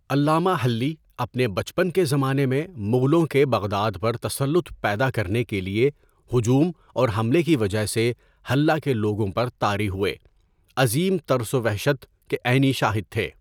علامہ Hilli, اپنے بچپن کے زمانہ میں، مغلوں کے بغداد پر تسلط پیدا کرنے کے لیے ہجوم اور حملہ کی وجہ سے حلّہ کے لوگوں پر طاری ہوئے عظیم ترس و وحشت کے عینی شاہد تھے.